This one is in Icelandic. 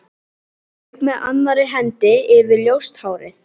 Strauk með annarri hendi yfir ljóst hárið.